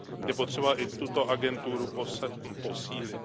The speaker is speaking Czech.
je potřeba i tuto agenturu posílit.